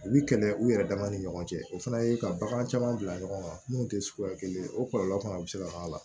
U bi kɛlɛ u yɛrɛ dama ni ɲɔgɔn cɛ o fana ye ka bagan caman bila ɲɔgɔn kan mun te suguya kelen ye o kɔlɔlɔ fana be se ka k'a la